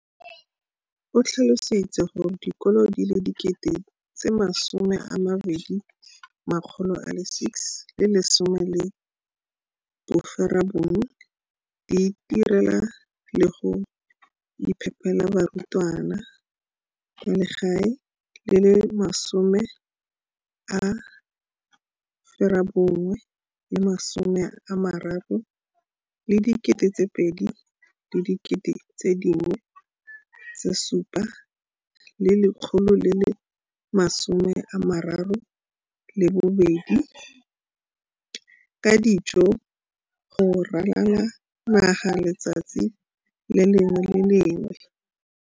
o tlhalositse gore dikolo di le 20 619 di itirela le go iphepela barutwana ba le 9 032 622 ka dijo go ralala naga letsatsi le lengwe le le lengwe.